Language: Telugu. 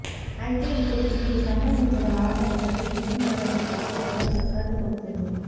అయితే ఇప్పుడు దీనికి సంబంధించిన వార్త ఒకటి ఫిలిం నగర్ సర్కిల్లో చక్కర్లు కొడుతుంది